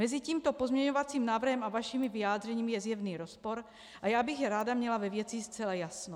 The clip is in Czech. Mezi tímto pozměňovacím návrhem a vašimi vyjádřeními je zjevný rozpor a já bych ráda měla ve věci zcela jasno.